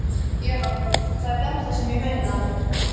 Já, það er þetta sem ég meina!